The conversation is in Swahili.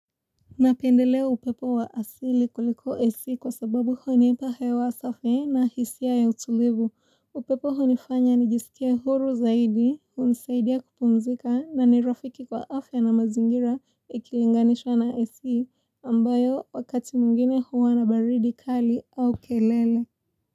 Napendelea upepo wa asili kuliko AC kwa sababu hunipa hewa safi na hisia ya utulivu. Upepo hunifanya nijisikie huru zaidi, hunisaidia kupumzika na nirafiki kwa afya na mazingira ikilinganishwa na esi ambayo wakati mwingine huwa na baridi kali au kelele.